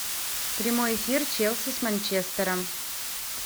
прямой эфир челси с манчестером